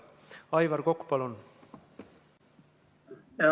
Aivar Kokk, palun!